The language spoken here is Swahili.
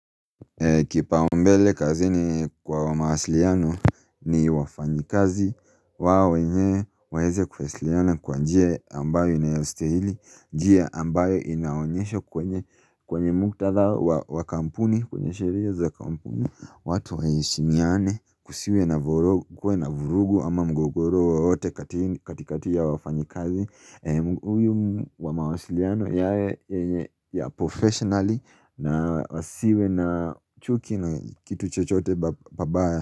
Kipao mbele kazi ni kwa mawasiliano ni wafanyikazi wao wenye waeze kufasiliana kwa njia ambayo inayelstehili njia ambayo inaonyesho kwenye mkutatha wakampuni, kwenye shereza wakampuni watu waheshimiane kusiwe na vurugu ama mgogoro wowote katikati ya wafanyikazi Uyu wa mawasiliano yae ya professionally na wasiwe na chuki na kitu chochote pabaya.